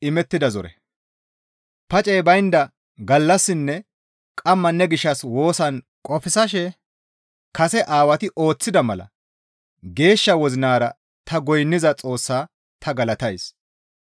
Pacey baynda gallassinne qamma ne gishshas woosan qofsashe kase Aawati ooththida mala geeshsha wozinara ta goynniza Xoossaa ta galatays.